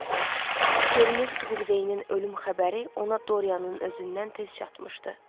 Görünür Sibil Veinin ölüm xəbəri ona Doryanın özündən tez çatmışdı.